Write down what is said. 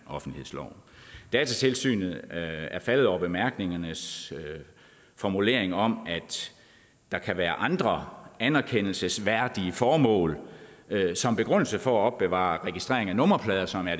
offentlighedsloven datatilsynet er faldet over bemærkningernes formulering om at der kan være andre anerkendelsesværdige formål som begrundelse for at opbevare registrering af nummerplader som er